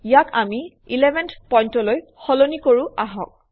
ইয়াক আমি 11 পইণ্টলৈ সলনি কৰোঁ আহক